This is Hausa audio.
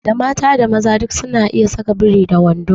Da mata da maza duk su na iya saka biri da wando